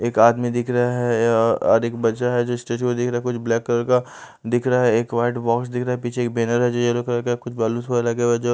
एक आदमी दिख रहा है या और एक बच्चा है जो स्टेज पे दिख रहा है कुछ ब्लैक कलर का दिख रहा है एक वाइट बॉक्स दिख रहा है पीछे एक बैनर है जो येलो कलर का --